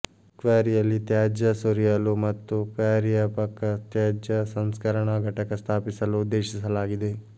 ಕ್ವಾರಿಯಲ್ಲಿ ತ್ಯಾಜ್ಯ ಸುರಿಯಲು ಮತ್ತು ಕ್ವಾರಿಯ ಪಕ್ಕ ತ್ಯಾಜ್ಯ ಸಂಸ್ಕರಣಾ ಘಟಕ ಸ್ಥಾಪಿಸಲು ಉದ್ದೇಶಿಸಲಾಗಿದೆ